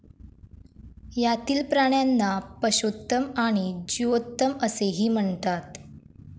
यातील प्राण्यांना पषोत्तम आणि जीओत्तमअसेही म्हणतात